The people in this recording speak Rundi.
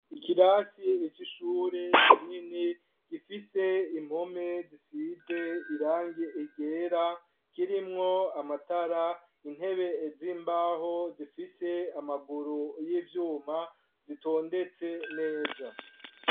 Ikirasi ico ishure kinini gifise impome zisize irangie egera kirimwo amatara intebe z'imbaho zifise amaguru y'ivyuma zitondetse neza.